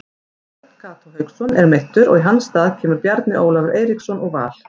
Örn Kató Hauksson er meiddur og í hans stað kemur Bjarni Ólafur Eiríksson úr Val.